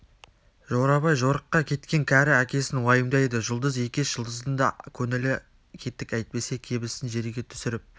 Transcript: жорабай жорыққа кеткен кәрі әкесін уайымдайды жұлдыз екеш жұлдыздың да көңілі кетік әйтпесе кебісін жерге түсіріп